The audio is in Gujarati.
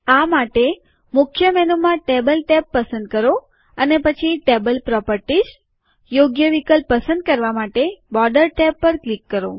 આ માટે મુખ્ય મેનુમાં ટેબલ ટેબ પસંદ કરો અને પછી ટેબલ પ્રોપરટીશ યોગ્ય વિકલ્પ પસંદ કરવા માટે બોર્ડર ટેબ પર ક્લિક કરો